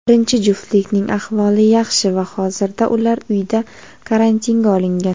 birinchi juftlikning ahvoli yaxshi va hozirda ular uyda karantinga olingan.